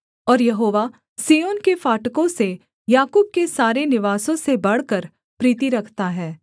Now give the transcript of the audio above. और यहोवा सिय्योन के फाटकों से याकूब के सारे निवासों से बढ़कर प्रीति रखता है